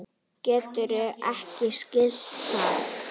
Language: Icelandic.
Geturðu ekki skilið það?